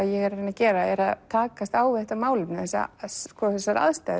ég er að reyna að gera er að takast á við þetta málefni þessar aðstæður